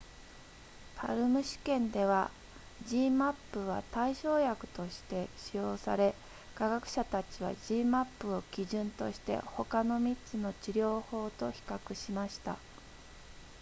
palm 試験では zmapp は対照薬として使用され科学者たちは zmapp を基準として他の3つの治療法と比較しました